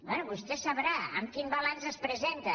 bé vostè sabrà amb quin balanç es presenta